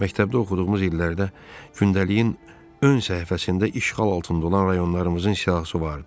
Məktəbdə oxuduğumuz illərdə gündəliyin ön səhifəsində işğal altında olan rayonlarımızın siyahısı var idi.